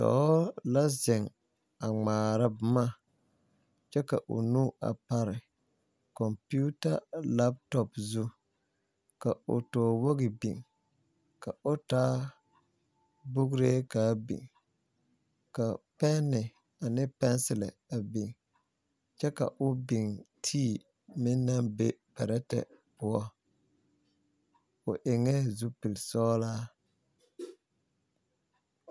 Dɔɔ la zeŋ a ŋmaara boma kyɛ ka o nu pare kompeeta laatɔ zu ka o toowogi biŋ ka o taa bugiree ka a biŋ ka pɛɛne ane pɛɛselɛ a biŋ kyɛ ka o biŋ tii meŋ naŋ be pɛrɛtɛ poɔ o eŋɛɛ zupile sɔglaa.